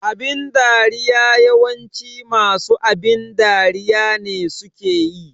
Abin dariya yawanci masu abin dariya ne suke yi